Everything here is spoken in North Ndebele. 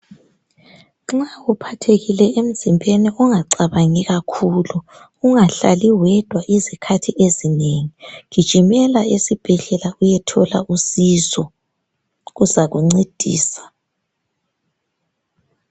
Nxa uphathekile emzimbeni ungacabangi kakhulu .Ungahlali wedwa izikhathi ezinengi .Gijimela esibhedlela uyethola usizo kuzakuncedisa .